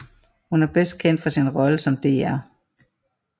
Hun er bedst kendt for sin rolle som dr